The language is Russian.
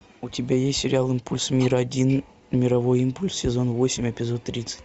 у тебя есть сериал импульс мира один мировой импульс сезон восемь эпизод тридцать